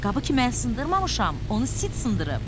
Qabı ki mən sındırmamışam, onu Sid sındırıb.